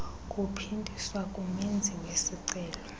kuphindiswa kumenzi wesicelo